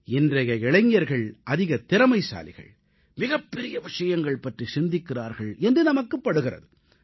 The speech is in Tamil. இன்றைய இளைஞர்கள் அதிக திறமைசாலிகள் மிகப்பெரிய விஷயங்கள் பற்றிச் சிந்திக்கிறார்கள் என்று நமக்குப் படுகிறது